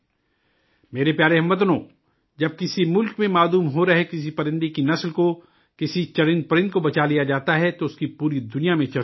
میرے پیارے ہم وطنو، جب کسی ملک میں غائب ہو رہی کسی پرندے کی نسل کو، کسی جاندار کو بچا لیا جاتا ہے، تو اس کی پوری دنیا میں چرچہ ہوتی ہے